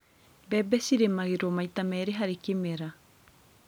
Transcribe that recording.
bembe cĩrĩmangĩrwo maita merĩ harĩ kĩmera